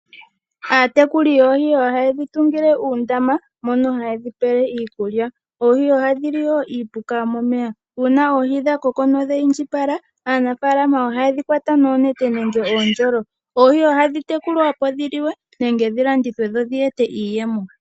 Aatekuli yoohi oha yedhi tungile uundama mono ha yedhi pele iikulya, oohi oha dhili woo iipuka yo momeya. Uuna oohi dha koko nodha indjipala, aanafaalama oha yedhi kwata noonete nenge oondjolo. Oohi ohadhi tekulwa opo dhi liwe, nenge dhi landithwe dho dhi ete iiyemo.